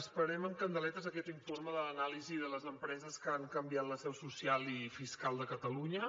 esperem amb candeletes aquest informe de l’anàlisi de les empreses que han canviat la seu social i fiscal de catalunya